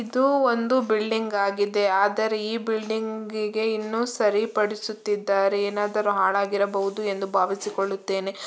ಇದು ಒಂದು ಬಿಲ್ಡಿಂಗ್ ಆಗಿದೆ ಆದರೆ ಈ ಬಿಲ್ಡಿಂಗ್ ಇನ್ನೂ ಸರಿಪಡಿಸುತ್ತಿದ್ದಾರೆ ಏನಾದರೂ ಹಾಳಾಗಿರಬಹುದೆಂದು ಎಂದು ಭಾವಿಸಿಕೊಳ್ಳುತ್ತೇನೆ.